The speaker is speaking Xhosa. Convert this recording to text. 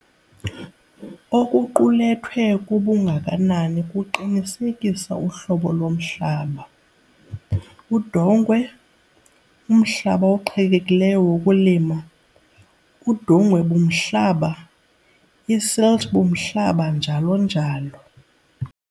Okuqulethwe kubungakanani kuqinisekisa uhlobo lomhlaba- udongwe, umhlaba oqhelekileyo wokulima, udongwe-bumhlaba, isilt-bumhlaba, njalo njalo.